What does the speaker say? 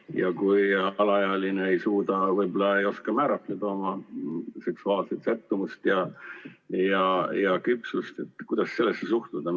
... ja kui alaealine ei suuda, võib-olla ei oska määratleda oma seksuaalset sättumust ja küpsust, siis kuidas sellesse suhtuda?